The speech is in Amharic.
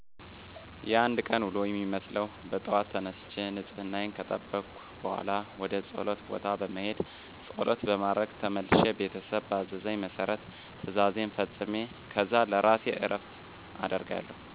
የአንድ ቀን ውሎ የሚመስለው በጠዋት ተነስቸ ንፅህናየን ከጠበኩ በኋላ ወደ ፆለት ቦታ በመሄድ ፆለት በማድረስ ተመልሸ ቤተሰብ ባዘዘኝ መሰረት ትእዛዜን ፈፅሜ ከዛ ለእራሴ እረፍት አደርጋለው።